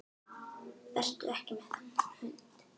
Vertu ekki með þennan hund.